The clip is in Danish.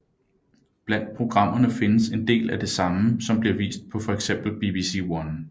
Blandt programmene findes en del af det samme som bliver vist på for eksempel BBC One